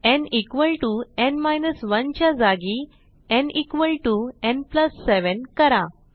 nn 1 च्या जागी nn 7 करा